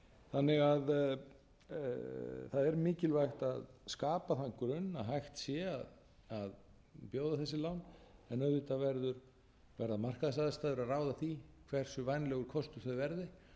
þannig að það er mikilvægt að skapa þann grunn að hægt sé að bjóða þessi lán en auðvitað verða markaðsaðstæður að ráða því hversu vænlegur kostur þau verði